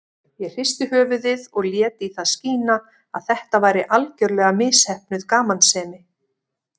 Ég hristi höfuðið og lét í það skína að þetta væri algerlega misheppnuð gamansemi.